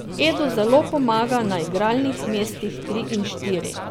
Edo zelo pomaga na igralnih mestih tri in štiri.